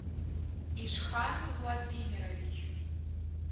ишхан владимирович